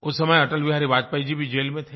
उस समय अटल बिहारी वाजपेयी जी भी जेल में थे